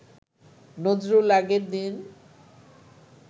নজরুল আগের দিন